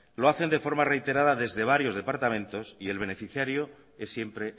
lo hacen de forma reiterada desde varios departamentos y el beneficiario es siempre